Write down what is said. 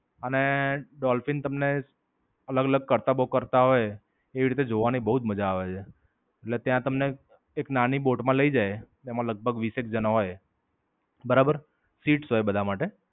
અને ડોલ્ફિન તમને અલગ-અલગ કરતબો કરતા હોય એ રીતે જોવાની બોવ જ માજા આવે છે. એટલે ત્યાં તમને એક નાની બોટ માં લઇ જાય. એમાં લગભગ વીસેક જણા હોય. બરાબર, સીટ્સ હોય બધા માટે.